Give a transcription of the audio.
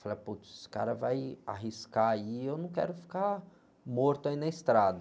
Falei, putz, esse cara vai arriscar aí, eu não quero ficar morto aí na estrada.